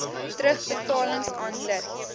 terugbetalings aan lid